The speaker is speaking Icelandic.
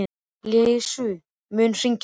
Líus, mun rigna í dag?